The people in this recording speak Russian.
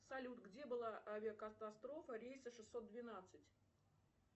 салют где была авиакатастрофа рейса шестьсот двенадцать